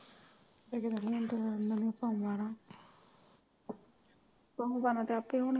ਲੇਕਿਨ ਇਹਦੀਆਂ ਤੇ ਉਨ੍ਹਾਂ ਦੀਆਂ ਪਾਈਆਂ ਨਾ ਤੇ ਹੁਣ ਗਲਾਂ ਤਾਂ ਆਪੇ ਹੀ